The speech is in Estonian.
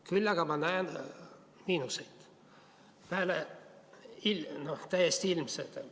Küll aga ma näen miinuseid, need on täiesti ilmsed.